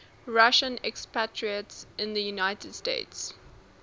russian expatriates in the united states